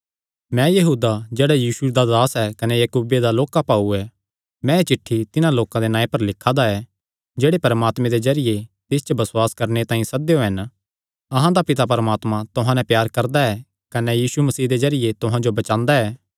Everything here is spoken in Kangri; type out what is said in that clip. मैं यहूदा जेह्ड़ा यीशु मसीह दा दास कने याकूबे दा लोक्का भाऊ ऐ मैं एह़ चिठ्ठी तिन्हां लोकां दे नांऐ पर लिखा दा ऐ जेह्ड़े परमात्मे दे जरिये तिस च बसुआस करणे तांई सद्देयो हन अहां दा पिता परमात्मा तुहां नैं प्यार करदा ऐ कने यीशु मसीह दे जरिये तुहां जो बचांदा ऐ